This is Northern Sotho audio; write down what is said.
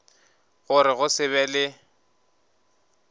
gore go se be le